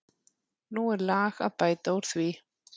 Nú er lag að bæta úr því.